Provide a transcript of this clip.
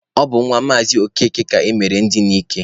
Ọ bụ nwa Maazị Okeke ka emere ndina ike.